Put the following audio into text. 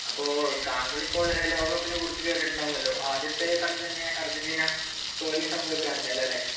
അപ്പോൾ താങ്കളിപ്പോൾ ലോകകപ്പിനെ കുറിച്ച് കേട്ടിരിക്കുമല്ലോ ആദ്യ കളി തന്നെ അർജന്റീന തോൽവി സംഭവിക്കുകയുണ്ടായി അല്ലെ